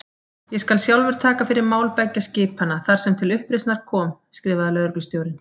Ég skal sjálfur taka fyrir mál beggja skipanna, þar sem til uppreisnar kom skrifaði lögreglustjórinn.